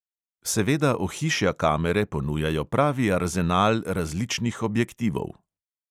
Seveda ohišja kamere ponujajo pravi arzenal različnih objektivov.